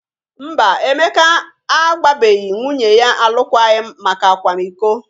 Mba, Emeka agbabeghi nwunye ya alụkwaghịm maka akwamiko.